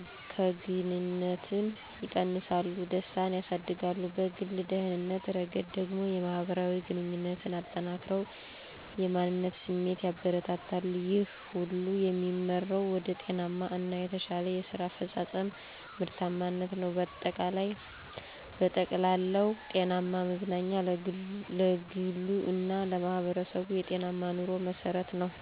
እከግንነትን ይቀንሳሉ፣ ደስታን ያሳድጋሉ። በግል ደህንነት ረገድ ደግሞ፣ የማህበራዊ ግንኙነትን አጠናክረው የማንነት ስሜትን ያበረታታሉ። ይህ ሁሉ የሚመራው ወደ ጤናማ እና የተሻለ የስራ አፈጻጸም (ምርታማነት) ነው። በጠቅላላው፣ ጤናማ መዝናኛ ለግሉ እና ለማህበረሰቡ የጤናማ ኑሮ መሠረት ነው።